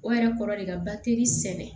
O yɛrɛ kɔrɔ de ka bateri sɛnɛ